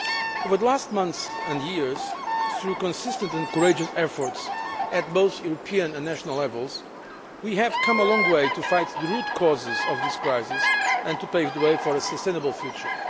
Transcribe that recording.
Over the last months and years, through consistent and courageous efforts at both European and national levels, we have come a long way to fight the root causes of this crisis and to pave the way for a sustainable future.